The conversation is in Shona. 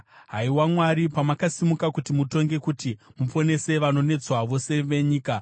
haiwa Mwari, pamakasimuka kuti mutonge, kuti muponese vanonetswa vose venyika. Sera